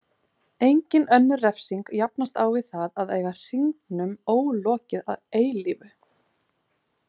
Engin önnur refsing jafnast á við það að eiga hringnum ólokið að eilífu.